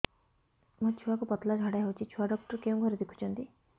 ମୋର ଛୁଆକୁ ପତଳା ଝାଡ଼ା ହେଉଛି ଛୁଆ ଡକ୍ଟର କେଉଁ ଘରେ ଦେଖୁଛନ୍ତି